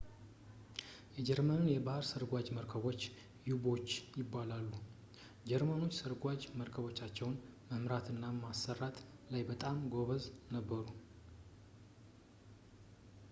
የጀርመን የባህር ስርጓጅ መርከቦች ዩ-ቦቶች ይባላሉ ጀርመኖች ሰርጓጅ መረከቦቻቸውን መምራት እና ማሰራት ላይ በጣም ጎበዝ ነበሩ